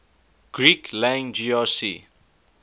greek lang grc